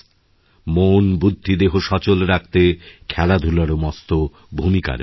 মন বুদ্ধি দেহ সচল রাখতে খেলাধূলারও মস্ত ভূমিকা রয়েছে